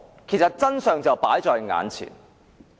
其實，真相已放在眼前。